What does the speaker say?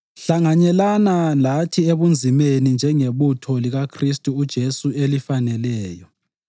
Hlanganyelana lathi ebunzimeni njengebutho likaKhristu uJesu elifaneleyo.